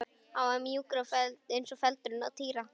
Hann var mjúkur eins og feldurinn á Týra.